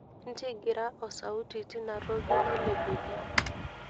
ntigira osauti tinatoki nailepeki